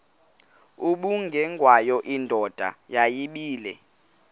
ubengwayo indoda yayibile